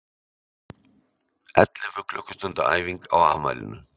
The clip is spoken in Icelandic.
Ellefu klukkustunda æfing á afmælinu